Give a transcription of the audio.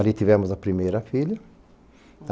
Ali tivemos a primeira filha.